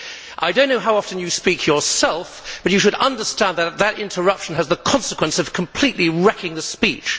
I do not know how often you speak yourself, but you should understand that such an interruption has the consequence of completely wrecking the speech.